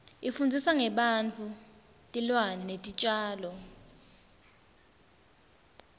ifundzisa ngebantfu tilwane netitjalo